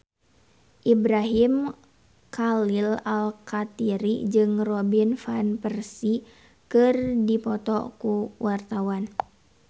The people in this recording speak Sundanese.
Ibrahim Khalil Alkatiri jeung Robin Van Persie keur dipoto ku wartawan